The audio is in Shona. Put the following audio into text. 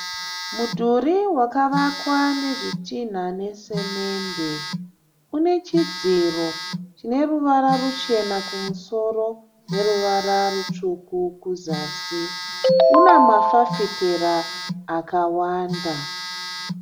Mudhuri wakavakwa nezvitinha nesimende. Une chidziro chine ruvara ruchena kumusoro neruvara rutsvuku kuzasi. Una mafafitera akawanda.